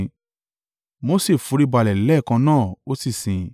Mose foríbalẹ̀ lẹ́ẹ̀kan náà ó sì sìn.